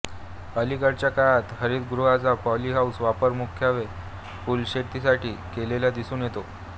अलीकडच्या काळात हरितगृहाचा पॉली हाऊस वापर मुख्यत्वे फुलशेतीसाठी केलेला दिसून येतो